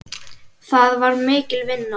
Það var mikil vinna.